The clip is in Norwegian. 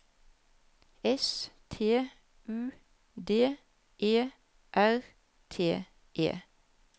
S T U D E R T E